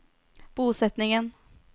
bosetningen